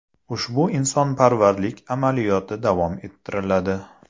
Ushbu insonparvarlik amaliyoti davom ettiriladi.